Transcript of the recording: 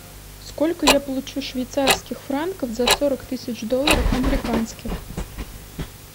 сколько я получу швейцарских франков за сорок тысяч долларов американских